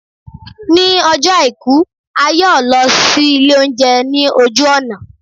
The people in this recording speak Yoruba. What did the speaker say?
ní Ọjọ aiku, a yọọ lọ si ilé ounjẹ ni ojú ọna.